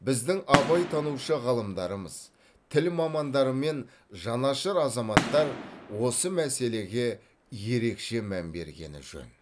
біздің абайтанушы ғалымдарымыз тіл мамандары мен жанашыр азаматтар осы мәселеге ерекше мән бергені жөн